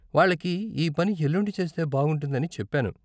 వాళ్ళకి ఈ పని ఎల్లుండి చేస్తే బాగుంటుందని చెప్పాను.